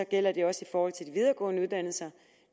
gælder det også i forhold til de videregående uddannelser